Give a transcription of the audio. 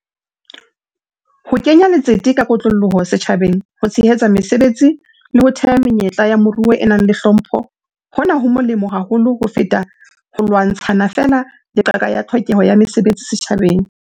Ho kenya letsete ka kotloloho setjhabeng ho tshehetsa mesebetsi le ho theha menyetla ya moruo e nang le hlompho hona ho molemo haholo ho feta ho lwantshang feela le qaka ya tlhokeho ya mesebetsi setjhabeng.